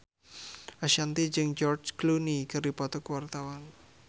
Ashanti jeung George Clooney keur dipoto ku wartawan